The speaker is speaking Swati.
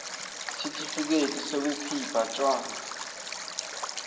sitifiketi sekukhipha tjwala